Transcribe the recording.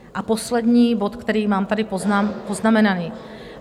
A poslední bod, který mám tady poznamenaný.